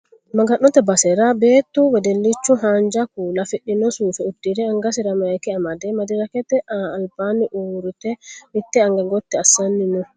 maga'note basera beettu wedellichu haanja kuula afidhino suufe uddire angasira mayiika amade madirakete albanni uure mitte anga gotti assanni no